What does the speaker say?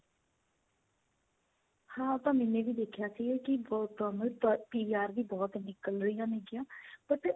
ਹਾਂ ਉਹ ਤਾਂ ਮੈਨੇ ਵੀ ਦੇਖਿਆ ਸੀ ਕੀ work permit PR ਵੀ ਬਹੁਤ ਨਿੱਕਲ ਰਹੀਆਂ ਨੇਗਈਆਂ but